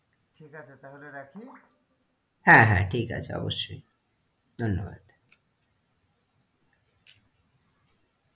ঠিক আছে তাহলে রাখি? হ্যাঁ, হ্যাঁ ঠিক আছে অবশ্যই ধন্যবাদ।